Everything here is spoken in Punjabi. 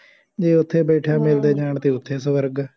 ਜੇ ਉੱਥੇ ਬੈਠਿਆ ਮਿਲਦੇ ਜਾਣ ਤਾਂ ਉੱਥੇ ਸਵਰਗ ਹੈ